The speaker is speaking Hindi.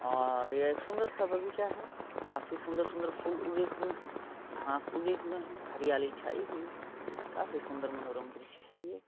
और ये एक सुंदर सा बगीचा है काफी सुंदर-सुंदर फुल उगे हुए है घास उगे हुए हैं हरियाली छाई हुई है काफी सुंदर मनोरम दृश्य है ये।